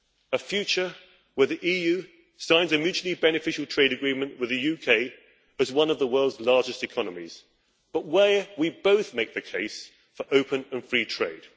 A future where the EU signs a mutually beneficial trade agreement with the UK, as one of the world's largest economies, but where we both make the case for open and free trade.